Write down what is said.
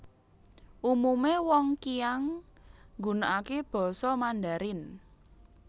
Umume wong Qiang nggunakake Basa Mandarin